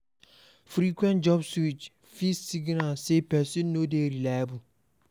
Frequent job switching fit signal sey person no dey reliable